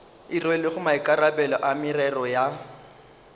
rwelego maikarabelo a merero ya